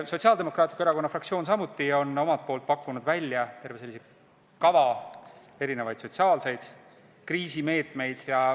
Ka Sotsiaaldemokraatliku Erakonna fraktsioon on omalt poolt pakkunud välja kava erinevaid sotsiaalseid kriisimeetmeid.